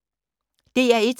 DR1